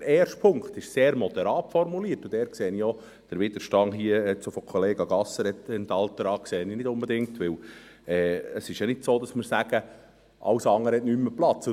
Der erste Punkt ist sehr moderat formuliert, und dort sehe ich auch den Widerstand von Kollega Gasser et altera nicht unbedingt ein, denn es ist ja nicht so, dass wir sagen, alles andere habe keinen Platz mehr.